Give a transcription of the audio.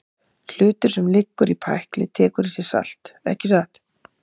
Hlutur sem liggur í pækli tekur í sig salt, ekki satt?